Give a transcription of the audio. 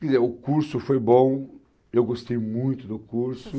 Quer dizer, o curso foi bom, eu gostei muito do curso.